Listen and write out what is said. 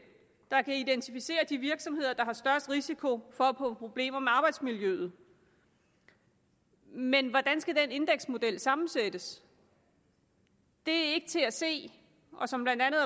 der kan identificere de virksomheder der har størst risiko for at få problemer med arbejdsmiljøet men hvordan skal den indeksmodel sammensættes det er ikke til at se og som blandt andet